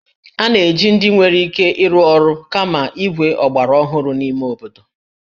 A na-eji ndị nwere ike ịrụ ọrụ kama igwe ọgbaraọhụrụ n'ime obodo